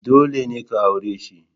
Dole ne ka aure shi!